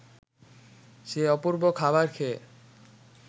সে অপূর্ব খাবার খেয়ে